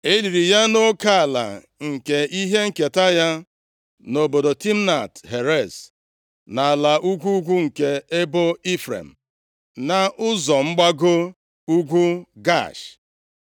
E liri ya nʼoke ala nke ihe nketa ya, nʼobodo Timnat Heres, nʼala ugwu ugwu nke ebo Ifrem, nʼụzọ mgbago ugwu Gaash.